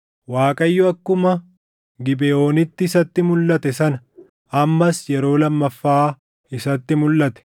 Waaqayyo akkuma Gibeʼoonitti isatti mulʼate sana ammas yeroo lammaffaa isatti mulʼate.